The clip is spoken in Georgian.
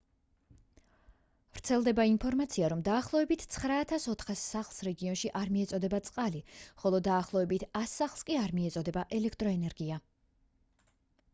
ვრცელდება ინფორმაცია რომ დაახლოებით 9400 სახლს რეგიონში არ მიეწოდება წყალი ხოლო დაახლოებით 100 სახლს კი არ მიეწოდება ელექტროენერგია